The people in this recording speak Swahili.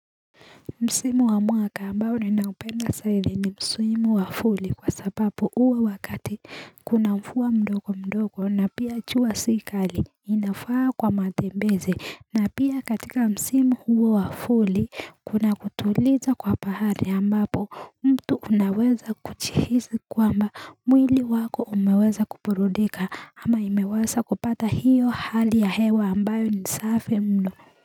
Msimu wa mwaka ambao ninaupenda sana ni Msimu wafuli kwa sababu huwa wakati kuna mvua mdogo mdogo na pia jua sikali inafaa kwa matembeze na pia katika Msimu huu wa vuli kuna kutuliza kwa pahari ambapo mtu unaweza kuchihizi kwamba mwili wako umeweza kuburudika ama imewaza kupata hiyo hali ya hewa ambayo ni safi mno.